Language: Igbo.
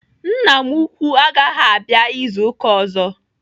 Nna m ukwuu agaghị abịa izu ụka ọzọ.